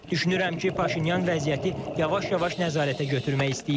Düşünürəm ki, Paşinyan vəziyyəti yavaş-yavaş nəzarətə götürmək istəyir.